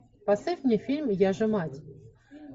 поставь мне фильм я же мать